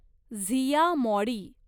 Zia मॉडी